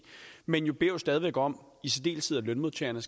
men jo stadig væk om at lønmodtagerne